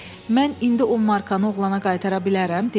Mən indi 10 markanı oğlana qaytara bilərəm?